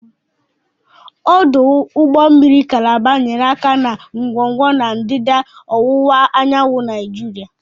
Ọdụ ụgbọ mmiri Kalaba nyere aka na ngwongwo na ndịda ọwụwa anyanwụ Nigeria.